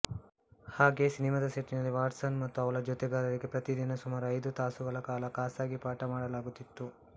ಹಾಗೆ ಸಿನಿಮಾದ ಸೆಟ್ಟಿನಲ್ಲಿ ವ್ಯಾಟ್ಸನ್ ಮತ್ತು ಅವಳ ಜೊತೆಗಾರರಿಗೆ ಪ್ರತಿದಿನ ಸುಮಾರು ಐದು ತಾಸುಗಳ ಕಾಲ ಖಾಸಗಿ ಪಾಠ ಮಾಡಲಾಗುತ್ತಿತ್ತು